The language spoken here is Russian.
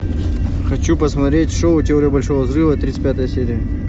хочу посмотреть шоу теория большого взрыва тридцать пятая серия